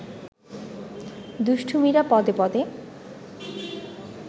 দুষ্টুমিরা পদে-পদে